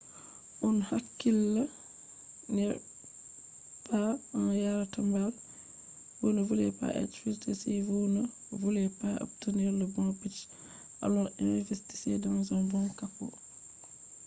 a hakkila be no a yarata mbal. mbal ɗo mema komoi fere fere gam man dikka goɗɗo andi ko o wawata yarugo